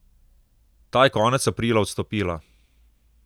Ta je konec aprila odstopila.